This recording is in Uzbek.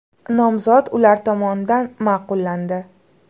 Nomzod ular tomonidan ma’qullandi.